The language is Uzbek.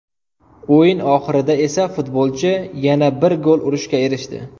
O‘yin oxirida esa futbolchi yana bir gol urishga erishdi.